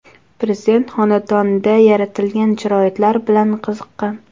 Prezident xonadonda yaratilgan sharoitlar bilan qiziqqan.